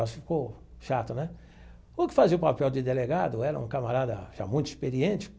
Ficou chato né o que fazia o papel de delegado era um camarada já muito experiente.